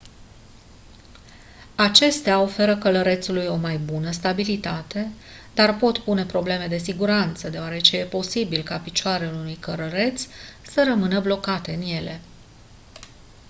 acestea oferă călărețului o mai bună stabilitate dar pot pune probleme de siguranță deoarece e posibil ca picioarele unui călăreț să rămână blocate în ele